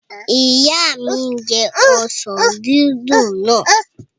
Ìyá mi n jẹ ọsàn dídùn náà